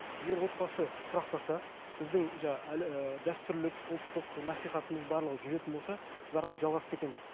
егер отбасы тұрақтаса біздің ііі дәстүрлік ұлттық насихатымыз барлығы жүретін болса біз әрі қарай жалғасып кетеміз